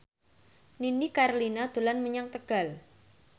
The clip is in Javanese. Nini Carlina dolan menyang Tegal